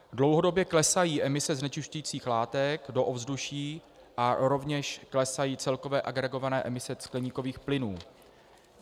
Dlouhodobě klesají emise znečišťujících látek do ovzduší a rovněž klesají celkové agregované emise skleníkových plynů.